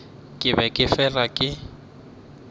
ke be ke fela ke